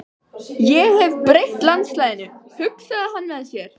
Ég hef breytt landslaginu, hugsaði hann með sér.